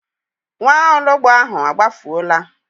Nwaologbo ahụ a gbafuola?